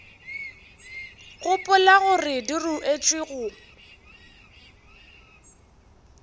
gopola gore di ruetšwe go